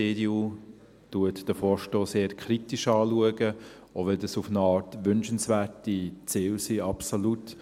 Die EDU sieht den Vorstoss eher kritisch, auch wenn das auf eine Art wünschenswerte Ziele sind, absolut.